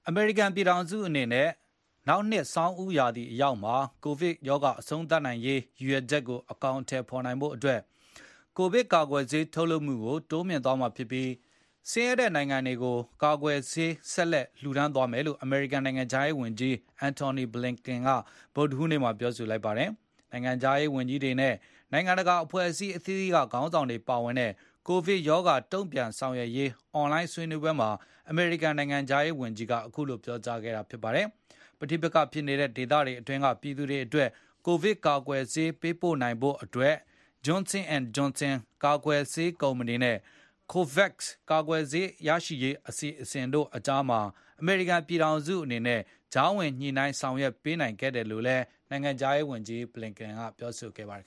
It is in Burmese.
အမေရိကန်ပြည်ထောင်စုအနေနဲ့ နောက်နှစ် ဆောင်းဦးရာသီအရောက်မှာ ကိုဗစ်ကပ်ရောဂါအဆုံး သတ်နိုင်ရေးရည်ရွယ်ကိုအကောင်အထည်ဖေါ်နိုင်ဖို့အတွက် ကိုဗစ်ကာကွယ်ဆေး ထုတ်လုပ်မှုကို တိုးမြှင့်သွားမှာဖြစ်ပြီး၊ ဆင်းရဲတဲ့နိုင်ငံတွေကို ကိုဗစ်ကာကွယ်ဆေး ဆက်လက် လှူဒါန်းသွားမယ်လို့ အမေရိကန်နိုင်ငံခြားရေးဝန်ကြီး Antony Blinken က ဗုဒ္ဓဟူးနေ့မှာ ပြောဆိုလိုက်ပါတယ်။ နိုင်ငံခြားရေးဝန်ကြီးတွေနဲ့ နိုင်ငံတကာအဖွဲ့အစည်း အသီးသီးက ခေါင်းဆောင်တွေပါဝင်တဲ့ ကိုဗစ်ရောဂါ တုန့်ပြန်ဆောင်ရွက်ရေး အွန်လိုင်းဆွေးနွေးပွဲမှာ အမေရိကန်နိုင်ငံခြားရေး ဝန်ကြီးက အခုလို ပြောဆိုခဲ့တာပါ။ ပဋိပက္ခဖြစ်နေတဲ့ ဒေသတွေအတွင်းက ပြည်သူတွေအတွက် ကိုဗစ်ကာကွယ်ဆေး ပေးပို့နိုင်ဖို့အတွက် J&J ကာကွယ်ဆေးကုမ္ပဏီနဲ့ COVAX ကာကွယ်ဆေးရရှိမှု အစီအစဉ်တို့အကြားမှာ အမေရိကန် ပြည်ထောင်စုအနေနဲ့ ကြားဝင် ညှိနိုင်းဆောင်ရွက်ပေးနိုင် ခဲ့တယ်လို့လည်း နိုင်ငံခြားရေးဝန်ကြီး Blinkin ကပြောဆိုခဲ့ပါတယ်